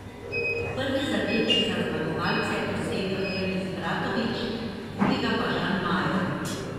Prvi zadetek za zmagovalce je dosegel Elvis Bratanović, drugega pa Žan Majer.